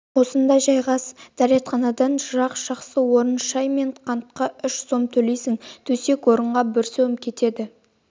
осында жайғас дәретханадан жырақ жақсы орын шай мен қантқа үш сом төлейсің төсек-орынға бір сом кенет